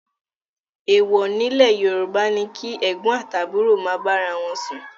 Èwò ni nílẹ̀ Yorùbá ni kí ẹ̀gbọ́n àti àbúrò ma bára wọn sún